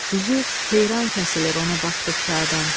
Düzü heyrankəsilib ona baxdıqca adam.